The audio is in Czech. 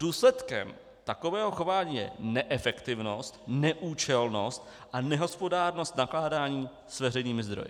Důsledkem takového chování je neefektivnost, neúčelnost a nehospodárnost nakládání s veřejnými zdroji.